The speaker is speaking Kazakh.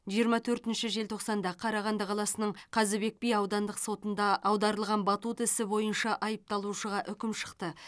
жиырма төртінші желтоқсанда қарағанды қаласының қазыбек би аудандық сотында аударылған батут ісі бойынша айыпталушыға үкім шықты